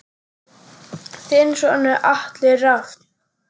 Þinn sonur Atli Rafn.